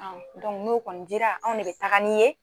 Anw dɔnku n'o kɔni dira anw ne be taga n'i ye